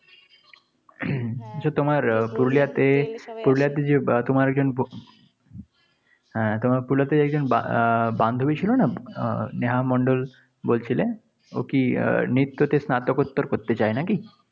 আহ তোমার পুরুলিয়াতে একজন বা আহ বান্ধবী ছিল না? আহ স্নেহা মন্ডল বলছিলে। ও কি আহ নৃত্যতে স্নাতকোত্তর করতে চায় নাকি?